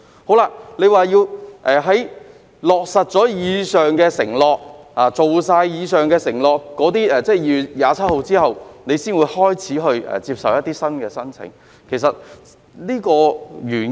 局長說要在落實及完成以上承諾後，即在2月27日後，才開始接受新的申請，原因是甚麼？